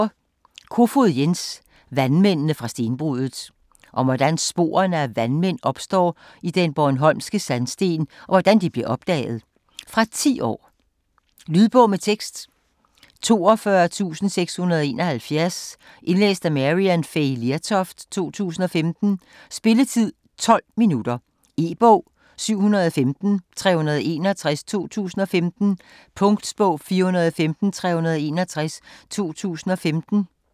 Kofoed, Jens: Vandmændene fra stenbruddet Om hvordan sporene af vandmænd opstod i den bornholmske sandsten, og hvordan de blev opdaget. Fra 10 år. Lydbog med tekst 42671 Indlæst af Maryann Fay Lertoft, 2015. Spilletid: 0 timer, 12 minutter. E-bog 715361 2015. Punktbog 415361 2015. 1 bind.